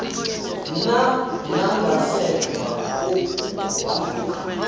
na nangasemva kokuguquka